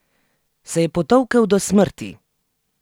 Se je potolkel do smrti?